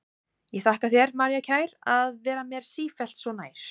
Ég þakka þér, María kær, að vera mér sífellt svo nær.